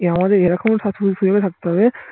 আমাদের থাকতে হবে